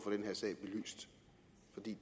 at